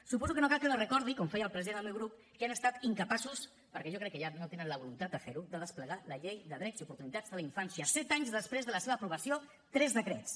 suposo que no cal els recordi com feia el president del meu grup que han estat incapaços perquè jo crec que no tenen la voluntat de fer ho de desplegar la llei de drets i oportunitats de la infància set anys després de la seva aprovació tres decrets